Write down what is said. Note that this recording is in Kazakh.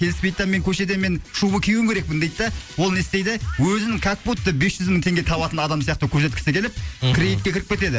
келіспейді да мен көшеде мен шуба киюім керекпін дейді да ол не істейді өзін как будто бес жүз мың теңге табатын адам сияқты көрсеткісі келіп мхм кредитке кіріп кетеді